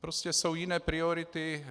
Prostě jsou jiné priority.